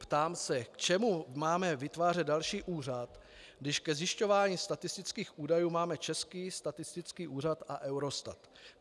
Ptám se: K čemu máme vytvářet další úřad, když ke zjišťování statistických údajů máme Český statistický úřad a Eurostat?